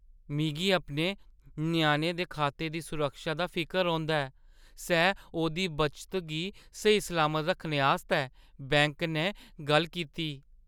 मिगी अपने ञ्याणे दे खाते दी सुरक्षा दा फिकर रौंह्‌दा ऐ सै ओह्दी बचता गी स्हेई-सलामत रक्खने आस्तै बैंक नै गल्ल कीती।